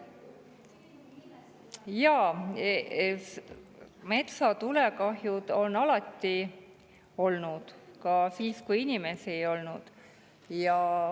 Jaa, metsatulekahjud on alati olnud, ka siis, kui inimesi ei olnud.